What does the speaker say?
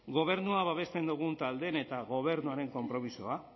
gobernua babesten dugun taldeen eta gobernuaren konpromisoa